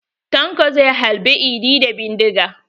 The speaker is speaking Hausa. Tanko zai halbe idi da bindiga.